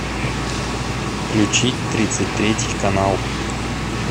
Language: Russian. включить тридцать третий канал